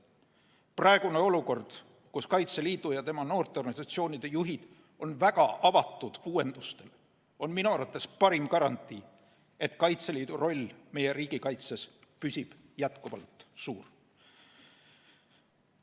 Praegune olukord, kus Kaitseliidu ja tema noorteorganisatsioonide juhid on väga avatud uuendustele, on minu arvates parim garantii, et Kaitseliidu roll meie riigikaitses püsib jätkuvalt suur.